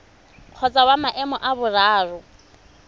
kgotsa wa maemo a boraro